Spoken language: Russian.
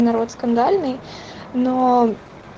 народ скандальный но